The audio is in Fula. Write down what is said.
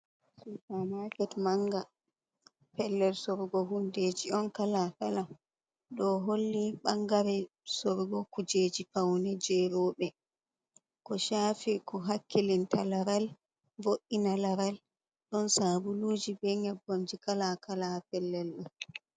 Supa maket manga. Pellel sorugo hundeji on kala-kala. Ɗo holli ɓangare sorugo kujeji faune jey rooɓe, ko shafi ko hakkilinta laral vo’ina laral. Ɗon sabuluji be nƴebbamji kala-kala ha pellel ɗo.